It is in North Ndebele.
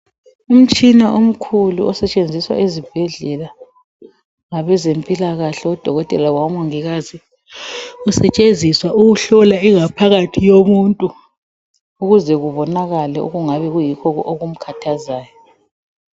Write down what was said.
Umtshina omkhulu osetshenziswa ezibhedlela ngabezempilakahle odokotela labo mongikazi usetshenziswa ukuhlola ingaphakathi yomuntu ukuze kubonakale okungabe kuyikho okumkhathazayo.